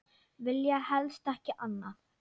Vilja helst ekki annað.